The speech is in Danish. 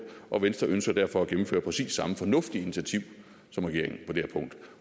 og venstre ønsker derfor at gennemføre præcis samme fornuftige initiativ som regeringen